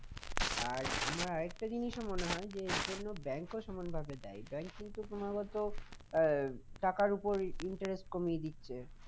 আর আমার আরেকটা জিনিসও মনে হয় এর জন্য bank ও সমান ভাবে দায়ী bank কিন্তু তোমাকে তো আহ টাকার উপর interest কমিয়ে দিচ্ছে